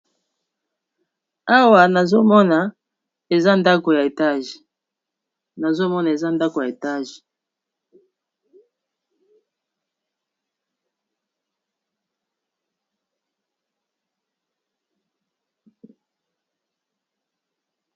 Awa nazomona eza ndako ya etage.